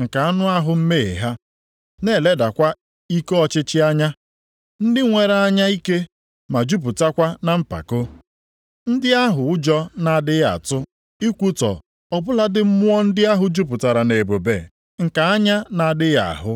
nke anụ ahụ mmehie ha, na-eledakwa ike ọchịchị anya. Ndị nwere anya ike ma jupụtakwa na mpako. Ndị ahụ ụjọ na-adịghị atụ ikwutọ ọ bụladị mmụọ ndị ahụ jupụtara nʼebube nke anya na-adịghị ahụ.